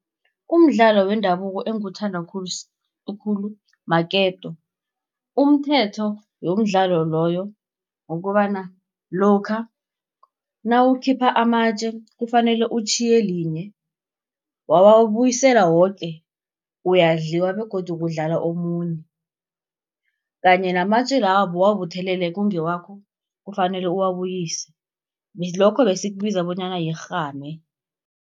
Umdlalo wendabuko engiwuthanda khulukhulu maketo. Umthetho yomdlalo loyo, kukobana lokha nawukhipha amatje kufanele utjhiye linye. Wawabuyisela woke uyadliwa, begodu kudlala omuntu, kanye namatje lawo bowabuthelele kungewakho, kufanele uwabuyise. Lokho besikubiza bonyana yirhame.